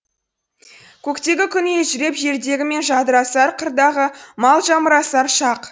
көктегі күн елжіреп жердегі жан жадырасар қырдағы мал жамырасар шақ